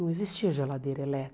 Não existia geladeira